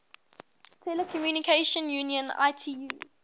telecommunication union itu